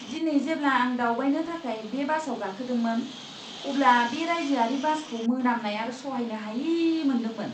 दिनै जेब्ला आं दावबायनो थाखाय बे बासआव गाखोदोंमोन, अब्ला बे रायजोआरि बासखौ मोनामनाय आरो सहायनो हायि मोनदोंमोन!